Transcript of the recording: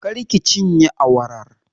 Kar ki cinye awarar!